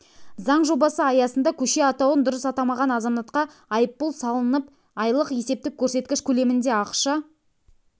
заң жобасы аясында көше атауын дұрыс атамаған азаматқа айыппұл салынып айлық есептік көрсеткіш көлемінде ақша